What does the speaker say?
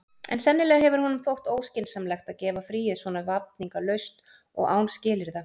En sennilega hefur honum þótt óskynsamlegt að gefa fríið svona vafningalaust og án skilyrða.